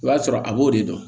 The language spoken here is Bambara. O y'a sɔrɔ a b'o de dɔn